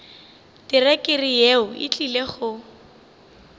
terekere yeo e tlile go